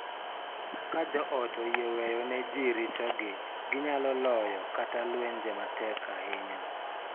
Ka joot oyie weyo ne ji richogi, ginyalo loyo kata lwenje matek ahinya .